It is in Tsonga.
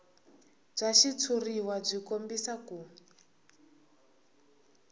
bya xitshuriwa byi kombisa ku